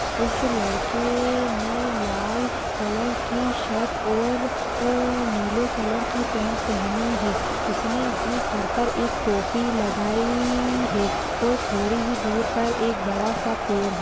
उस लड़के ने लाल कलर की शर्ट और उह नीले कलर की पेंट पहनी है उसने अपने सर पर एक टोपी लगाई है और थोड़ी ही दूर पर एक बड़ा सा पेड़ है।